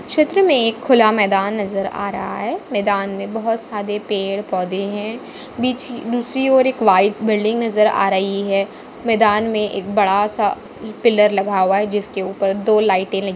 चित्र मे एक खुला मैदान नजर आ रहा है। मैदान मे बहुत सारे पेड़-पौधे है। दूसरी दूसरी ओर एक व्हाइट बिल्डिंग नजर आ रही है। मैदान मे एक बड़ा सा पिलर लगा हुआ जिसके ऊपर दो लाइटे लगी --